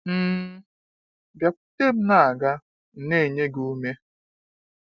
um Biakwute mụ na aga m enye gị ume.